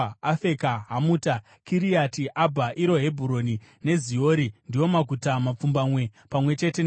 Humuta, Kiriati Abha, (iro Hebhuroni) neZiori ndiwo maguta mapfumbamwe pamwe chete nemisha yawo.